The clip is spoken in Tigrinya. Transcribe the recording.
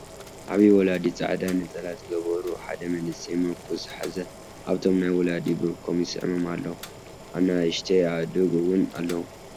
ዓብይ ወላዲ ፃዕዳ ነፀላ ዝገበሩ ሓደ መንእሰይ ምርኩስ ዝሓዘ ኣብቶም ናይ ወላዲ ብርኮም ይስዕሞም ኣሎ ። ኣንኣሽተይ ኣኡድግ እውን ኣለው ።